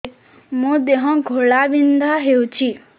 ମୋ ଦେହ ଘୋଳାବିନ୍ଧା ହେଉଛି